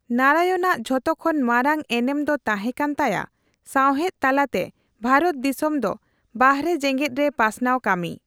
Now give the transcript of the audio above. ᱱᱟᱨᱟᱭᱚᱱ ᱟᱜ ᱡᱷᱚᱛᱚ ᱠᱷᱚᱱ ᱢᱟᱨᱟᱝ ᱮᱱᱮᱢ ᱫᱚ ᱛᱟᱸᱦᱮ ᱠᱟᱱ ᱛᱟᱭᱟ ᱥᱟᱸᱣᱦᱮᱫ ᱛᱟᱞᱟᱛᱮ ᱵᱷᱟᱨᱚᱛ ᱫᱤᱥᱚᱢ ᱫᱚ ᱵᱟᱦᱨᱮ ᱡᱮᱸᱜᱮᱫᱨᱮ ᱯᱟᱥᱱᱟᱣ ᱠᱟᱹᱢᱤ ᱾